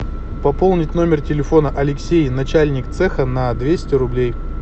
пополнить номер телефона алексей начальник цеха на двести рублей